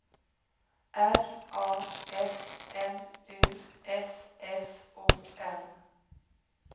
R A S M U S S O N